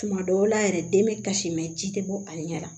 Tuma dɔw la yɛrɛ den bɛ kasimɛ ji tɛ bɔ a ɲɛ la